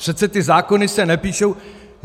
Přece ty zákony se nepíšou...